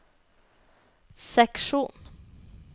seksjon